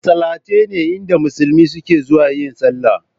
Masallatai ne inda musulmi suke zuwa yin sallah